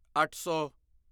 ਅੱਠ ਸੌ